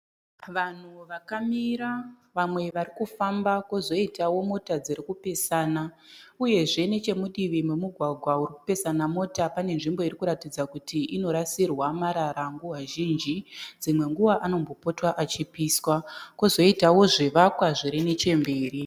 Vanhu vakamira vamwe varikufamba kozoitao mota dziri kupesana uyezve nechemudivi memugwagwa uri kupesana mota pane nzvimbo irikuratidza kuti inorasirwa marara nguva zhinji dzimwe nguva anombota achipiswa kozoitao zvivakwa zviri nechemberi.